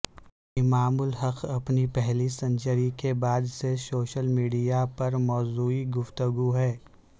امام الحق اپنی پہلی سینچری کے بعد سے سوشل میڈیا پر موضوع گفتگو ہیں